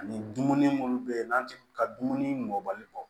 Ani dumuni munnu be yen n'an ti ka dumuni mɔli bɔ